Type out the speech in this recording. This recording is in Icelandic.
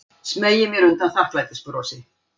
Smeygi mér undan þakklætisbrosi.